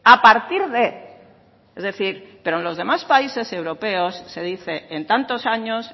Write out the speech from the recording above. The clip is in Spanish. pero en los demás países europeos se dice en tantos años